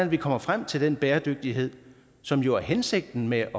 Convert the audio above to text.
vi kommer frem til den bæredygtighed som jo er hensigten med